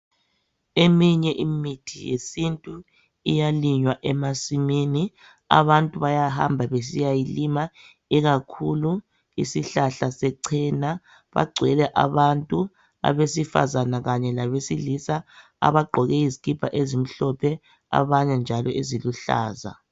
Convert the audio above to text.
Eminye imithi yesintu iyalinywa emasimini. Abantu bayahamba besiyayilima ikakhulu isihlahla sechena. Bagcwele abantu abesifazana kanye labesilisa abagqoke izikipa ezimhlophe abanye njalo eziluhlaza.